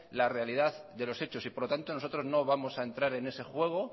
la realidad de los hechos y por lo tanto nosotros no vamos a entrar en ese juego